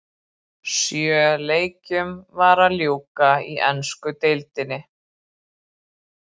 Sjö leikjum var að ljúka í ensku deildinni.